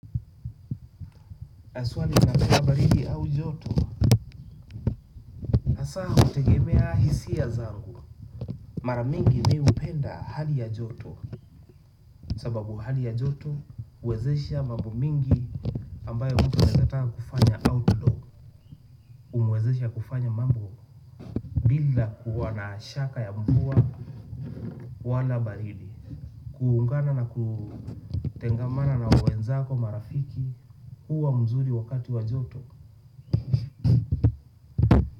Haswa ninapenda baridi au joto hasa hutegemea hisia zangu. Maramingi mimi hupenda hali ya joto. Sababu hali ya joto huwezesha mambo mingi ambayo mtu anaeza taka kufanya outlog humwezesha kufanya mambo bila kuwa na shaka ya mvua wala baridi. Kuungana na kutengamana na wenzako marafiki huwa mzuri wakati wa joto.